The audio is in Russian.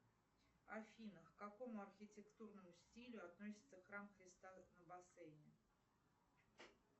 афина к какому архитекторному стилю относится храм христа на бассейне